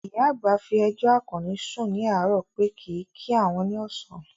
Ìyá àgbà fi ẹjọ́ Àkànní sùn ní àárò pé kìí kí àwọn ní ọ̀sán